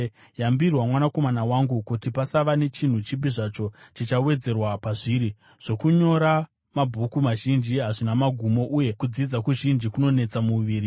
Yambirwa, mwanakomana wangu, kuti pasava nechinhu chipi zvacho chichawedzerwa pazviri. Zvokunyora mabhuku mazhinji hazvina magumo, uye kudzidza zvizhinji kunonetesa muviri.